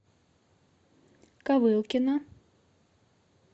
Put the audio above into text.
ковылкино